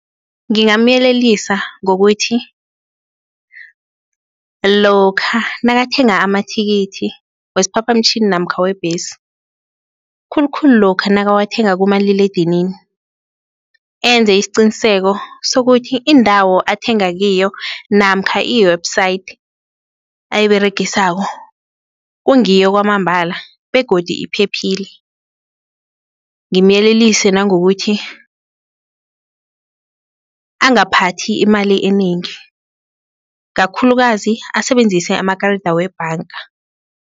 Ngingamyelelisa ngokuthi lokha nakathenga amathikithi wesiphaphamtjhini namkha webhesi, khulukhulu lokha nakawathenga kumaliledinini enze isiqiniseko sokuthi indawo athenga kiyo namkha i-website ayiberegisako kungiyo kwamambala begodu iphephile ngimyelelise nangokuthi, angaphathi imali enengi kakhulukazi, asebenzise amakarida webhanga.